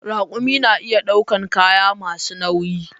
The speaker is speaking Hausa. Raƙumi na iya ɗaukan kaya masu nauyi